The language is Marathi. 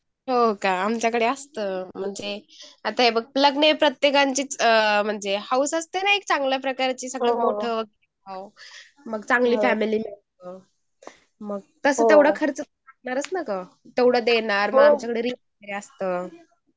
हो का आमच कड़े असत म्हणजे आत हे बघ लग्न हे म्हणजे प्रत्येकचिच म्हणजे हौस असते ना न एक चांगल्या प्रकारची सगळ मोठ हुवा मग चांगली फॅमिली मिलो